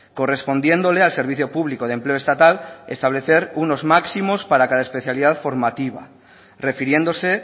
correspondiéndole al servicio público de empleo estatal establecer unos máximos para cada especialidad formativa refiriéndose